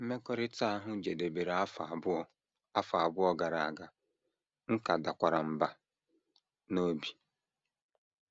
Mmekọrịta ahụ jedebere afọ abụọ afọ abụọ gara aga, m ka dakwara mbà n’obi. ”